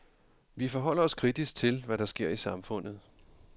Vi forholder os kritisk til, hvad der sker i samfundet.